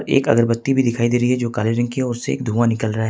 एक अगरबत्ती भी दिखाई दे रही हैं जो काले रंग की हैं उससे धुआं निकल रहा है।